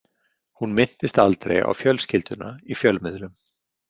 Hún minntist aldrei á fjölskylduna í fjölmiðlum.